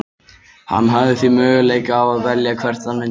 Hann hafði því möguleika á að velja hvert hann myndi fara.